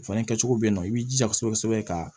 O fana kɛcogo bɛ yen nɔ i b'i jija kosɛbɛ kosɛbɛ ka